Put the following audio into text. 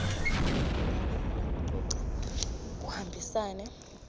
kulalela nekucoca kuhambisane